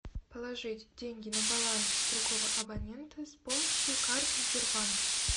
положить деньги на баланс другого абонента с помощью карты сбербанк